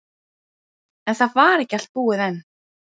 En það var ekki allt búið enn.